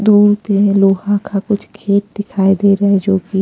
दूर पे लोहा का कुछ गेट दिखाई दे रहा है जो कि--